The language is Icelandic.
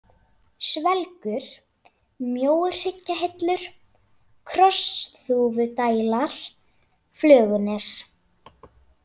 Svelgur, Mjóuhryggjahillur, Krossþúfudælar, Flögunes